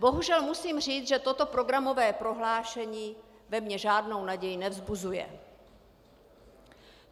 Bohužel musím říct, že toto programové prohlášení ve mně žádnou naději nevzbuzuje.